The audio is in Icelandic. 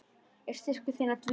Er styrkur þinn að dvína?